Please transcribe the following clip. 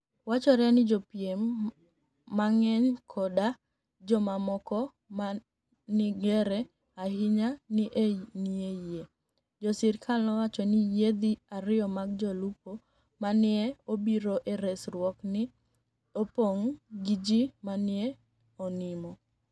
Wachore nii jopiem manig'eniy koda jomamoko monig'ere ahiniya ni e niie yie. Jo sirkal nowacho nii yiedhi ariyo mag jolupo ma ni e obiro e resruok ni e oponig ' gi ji ma ni e oniimo.